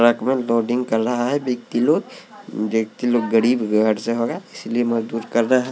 track में लोडिंग कर रहा है व्यक्ति लोग व्यक्ति लोग गरीब घर से होगा इसलिए मजबूत कर रहा हैं --